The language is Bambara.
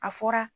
A fɔra